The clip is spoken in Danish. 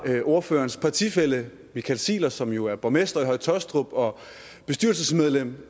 ordførerens partifælle michael ziegler som jo er borgmester i høje taastrup og bestyrelsesmedlem